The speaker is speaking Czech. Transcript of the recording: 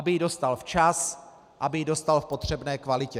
Aby ji dostal včas, aby ji dostal v potřebné kvalitě.